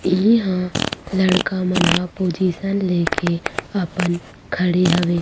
इहाँ लड़का मन ह पोजीसन ले के अपन खड़े हवे--